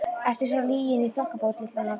Ertu svo lygin í þokkabót, litla nornin þín!